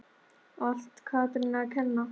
Allt Katrínu að kenna?